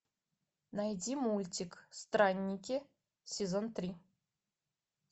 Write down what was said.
найди мультик странники сезон три